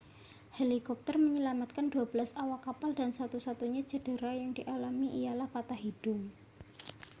helikopter menyelamatkan dua belas awak kapal dan satu-satunya cedera yang dialami ialah patah hidung